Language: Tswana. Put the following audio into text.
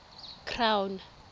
crown